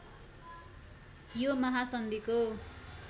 यो महासन्धिको